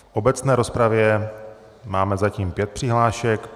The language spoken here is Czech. V obecné rozpravě máme zatím pět přihlášek.